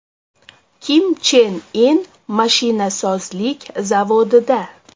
Kim Chen In mashinasozlik zavodida .